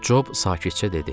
Job sakitcə dedi.